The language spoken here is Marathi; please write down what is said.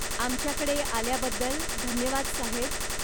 आमच्याकडे आल्याबद्दल धन्यवाद साहेब.